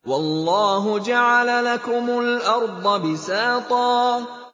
وَاللَّهُ جَعَلَ لَكُمُ الْأَرْضَ بِسَاطًا